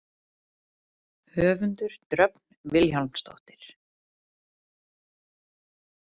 Höfundur: Dröfn Vilhjálmsdóttir.